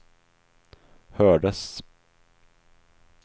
hördes